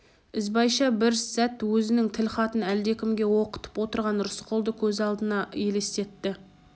ізбайша бір сәт өзінің тілхатын әлдекімге оқытып отырған рысқұлды көз алдына елестетті